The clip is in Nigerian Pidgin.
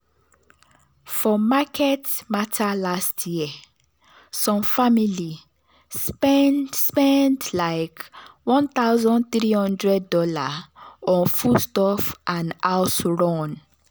for market matter last year some family spend spend like one thousand three hundred dollar on foodstuff and house run.